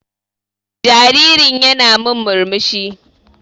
Jaririn ƴana min murmushi.